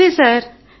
నమస్తే సార్